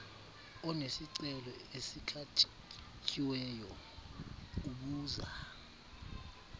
onesicelo esikhatyiweyo ubuza